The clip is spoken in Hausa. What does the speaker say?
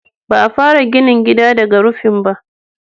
Ba a fara ginin gida daga rufin ba.